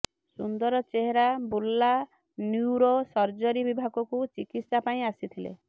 ସୁନ୍ଦର Behera Burla neuro surgery ବିଭାଗକୁ ଚିକିତ୍ସା ପାଇଁ ଆସିଥିଲେ